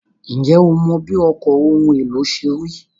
Ǹjẹ́ o mọ bí ọkọ̀ ohun èlò ṣe rí?